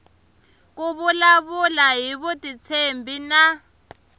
ku vulavula hi vutitshembi na